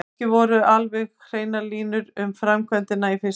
Ekki voru alveg hreinar línur um framkvæmdina í fyrstu.